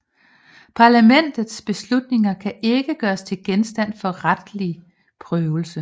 Parlamentets beslutninger kan ikke gøres til genstand for retslig prøvelse